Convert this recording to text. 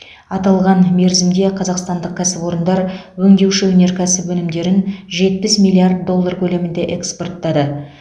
аталған мерзімде қазақстандық кәсіпорындар өңдеуші өнеркәсіп өнімдерін жетпіс миллиард доллар көлемінде экспорттады